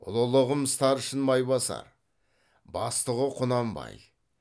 ұлылығым старшын майбасар бастығы құнанбай